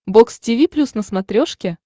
бокс тиви плюс на смотрешке